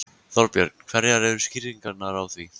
Þorbjörn: Hverjar eru skýringarnar á því?